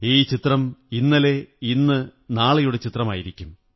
ഈ ചിത്രം ഇന്നലെ ഇന്ന് നാളെയുടെ ചിത്രമായിരിക്കും